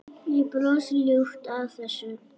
Ég brosi ljúft að þessu.